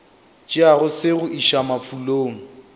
tšeago se go iša mafulong